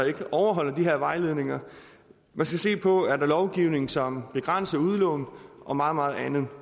ikke overholder de her vejledninger man skal se på er lovgivning som begrænser udlån og meget meget andet